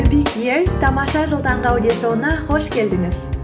тамаша жыл таңғы аудиошоуына қош келдіңіз